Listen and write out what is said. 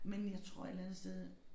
Men jeg tror et eller andet sted